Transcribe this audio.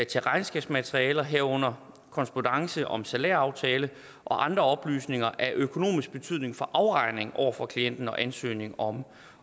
til regnskabsmaterialer herunder korrespondance om salæraftale og andre oplysninger af økonomisk betydning for afregning over for klienten og ansøgning om